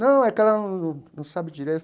Não, é que ela num não sabe direito.